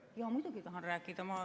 Jaa, muidugi ma tahan rääkida.